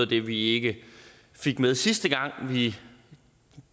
det vi ikke fik med sidste gang vi